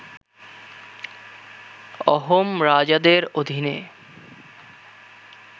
অহোম রাজাদের অধীনে